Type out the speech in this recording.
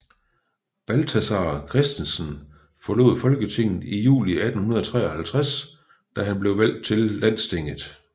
Balthazar Christensen forlod Folketinget i juli 1853 da han blev valgt til Landstinget